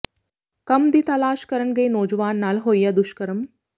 ਕੰਮ ਦੀ ਤਾਲਾਸ਼ ਕਰਨ ਗਏ ਨੌਜਵਾਨ ਨਾਲ ਹੋਇਆ ਦੁਸ਼ਕਰਮ